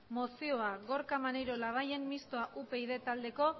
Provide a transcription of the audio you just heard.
mozioa gorka maneiro labayen mistoa upyd taldeko